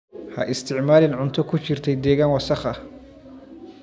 Ha isticmaalin cunto ku jirtay deegaan wasakh ah.